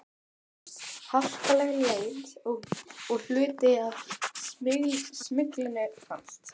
Þá hófst harkaleg leit og hluti af smyglinu fannst.